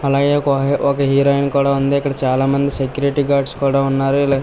అలాగే ఒక హీరోయిన్ కూడా ఉంది ఇక్కడ చాలామంది సెక్యూరిటీ గార్డ్స్ కూడా ఉన్నారు ఇలా --